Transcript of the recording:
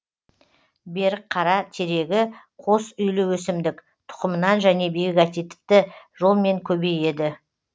берікқара терегі қос үйлі өсімдік тұқымынан және вегатативті жолмен көбейеді